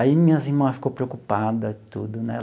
Aí minhas irmã ficou preocupada e tudo, né?